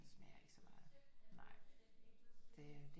Den smager ikke så meget nej det